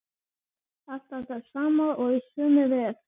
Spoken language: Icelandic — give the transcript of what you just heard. Alltaf það sama og í sömu röð.